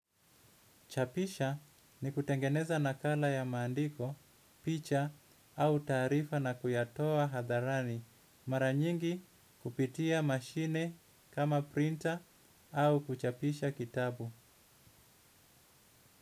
Chapisha ni kutengeneza nakala ya maandiko, picha au taarifa na kuyatoa hadharani. Mara nyingi kupitia mashine kama printer au kuchapisha kitabu.